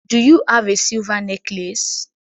Do you have a silver necklace